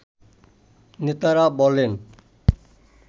নেতারা বলেন